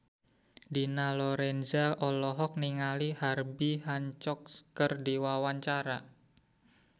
Dina Lorenza olohok ningali Herbie Hancock keur diwawancara